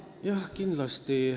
Jah, kindlasti.